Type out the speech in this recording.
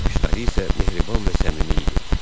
baxışları isə mehriban və səmimi idi.